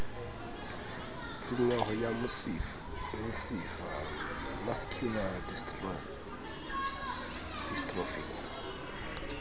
tshenyeho ya mesifa mascular dystrophy